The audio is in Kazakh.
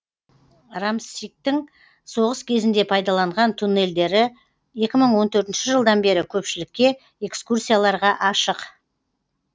рамсигтің соғыс кезінде пайдаланған туннельдері екі мың он төртінші жылдан бері көпшілікке экскурсияларға ашық